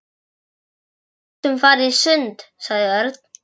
Við gætum farið í sund, sagði Örn.